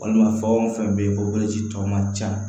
Walima fɛn o fɛn bɛ yen o boloci tɔ man ca